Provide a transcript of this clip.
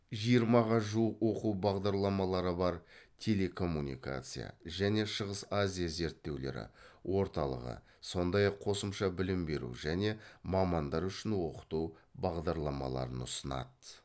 жиырмаға жуық оқу бағдарламаларын бар телекоммуникация және шығыс азия зерттеулері орталығы сондай ақ қосымша білім беру және мамандар үшін оқыту бағдарламаларын ұсынады